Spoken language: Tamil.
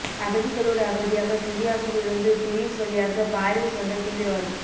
அகதிகளோடு அகதியாக சிரியாவில் இருந்து கிரீஸ் வழியாக பாரீஸ் வந்த தீவிரவாதி